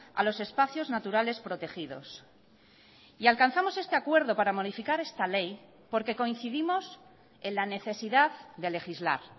a los espacios naturales protegidos y alcanzamos este acuerdo para modificar esta ley porque coincidimos en la necesidad de legislar